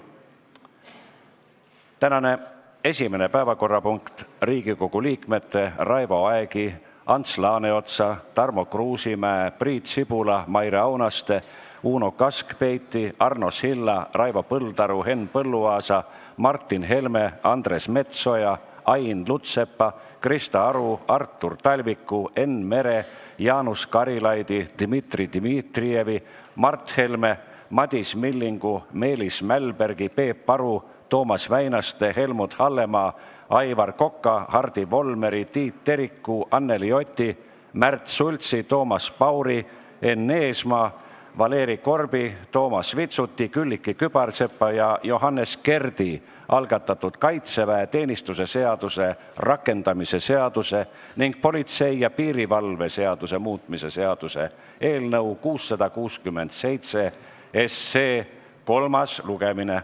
Tänane esimene päevakorrapunkt on Riigikogu liikmete Raivo Aegi, Ants Laaneotsa, Tarmo Kruusimäe, Priit Sibula, Maire Aunaste, Uno Kaskpeiti, Arno Silla, Raivo Põldaru, Henn Põlluaasa, Martin Helme, Andres Metsoja, Ain Lutsepa, Krista Aru, Artur Talviku, Enn Meri, Jaanus Karilaidi, Dmitri Dmitrijevi, Mart Helme, Madis Millingu, Meelis Mälbergi, Peep Aru, Toomas Väinaste, Helmut Hallemaa, Aivar Koka, Hardi Volmeri, Tiit Teriku, Anneli Oti, Märt Sultsi, Toomas Pauri, Enn Eesmaa, Valeri Korbi, Toomas Vitsuti, Külliki Kübarsepa ja Johannes Kerdi algatatud kaitseväeteenistuse seaduse rakendamise seaduse ning politsei ja piirivalve seaduse muutmise seaduse eelnõu 667 kolmas lugemine.